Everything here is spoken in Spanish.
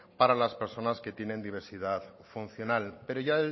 para las personas que tienen diversidad funcional pero ya